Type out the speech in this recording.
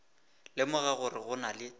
lemoga gore go na le